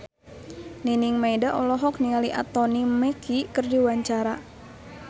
Nining Meida olohok ningali Anthony Mackie keur diwawancara